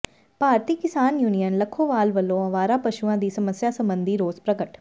ਭਾਰਤੀ Kisan union Lakhowal ਵੱਲੋਂ ਆਵਾਰਾ ਪਸ਼ੂਆਂ ਦੀ ਸਮੱਸਿਆ ਸਬੰਧੀ ਰੋਸ ਪ੍ਰਗਟ